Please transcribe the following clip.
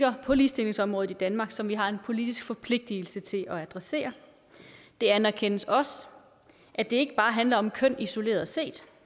på ligestillingsområdet i danmark som vi har en politisk forpligtigelse til at adressere det anerkendes også at det ikke bare handler om køn isoleret set